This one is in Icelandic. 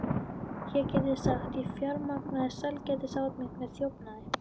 Ég gæti sagt, ég fjármagnaði sælgætisát mitt með þjófnaði.